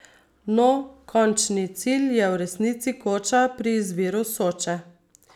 No, končni cilj je v resnici Koča pri izviru Soče.